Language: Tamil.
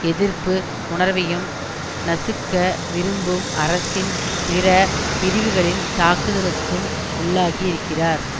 எதிர்ப்பு உணர்வையும் நசுக்க விரும்பும் அரசின் பிற பிரிவுகளின் தாக்குதலுக்கும் உள்ளாகி இருக்கிறார்